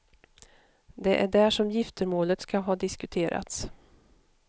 Det är där som giftermålet ska ha diskuterats.